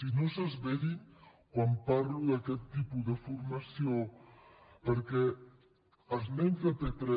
i no s’esverin quan parlo d’aquest tipus de formació perquè els nens de p3